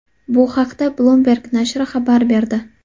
Bu haqda Bloomberg nashri xabar berdi .